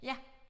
Ja